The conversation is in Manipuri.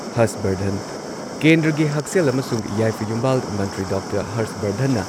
ꯍꯔꯁꯕꯔꯙꯟ ꯀꯦꯟꯗ꯭ꯔꯒꯤ ꯍꯛꯁꯦꯜ ꯑꯃꯁꯨꯡ ꯌꯥꯏꯐ ꯌꯨꯝꯕꯥꯜ ꯃꯟꯇ꯭ꯔꯤ ꯗꯣꯛꯇꯔ ꯍꯔꯁꯕꯔꯙꯟꯅ